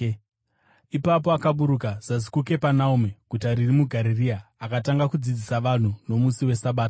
Ipapo akaburuka zasi kuKapenaume, guta riri muGarirea, akatanga kudzidzisa vanhu nomusi weSabata.